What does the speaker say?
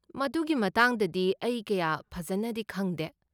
ꯃꯗꯨꯒꯤ ꯃꯇꯥꯡꯗꯗꯤ ꯑꯩ ꯀꯌꯥ ꯐꯖꯟꯅꯗꯤ ꯈꯪꯗꯦ꯫